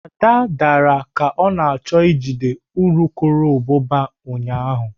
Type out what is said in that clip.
Ada dara ka ọ na-achọ ijide urukurubụba ụnyahụ.